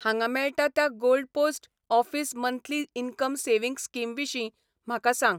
हांगा मेळटा त्या gold post office monthly income savings scheme विशीं म्हाका सांग!